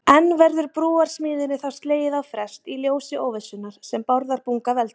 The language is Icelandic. En verður brúarsmíðinni þá slegið á frest í ljósi óvissunnar sem Bárðarbunga veldur?